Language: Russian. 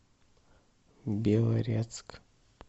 белорецк